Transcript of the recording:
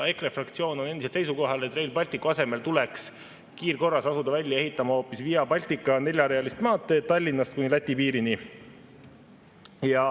EKRE fraktsioon on endiselt seisukohal, et Rail Balticu asemel tuleks kiirkorras asuda välja ehitama hoopis Via Baltica neljarealist maanteed Tallinnast kuni Läti piirini.